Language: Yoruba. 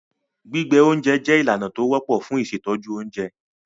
Gbígbẹ oúnjẹ jẹ́ ìlànà tó wọ́pọ̀ fun ìṣètọ́jú oúnjẹ.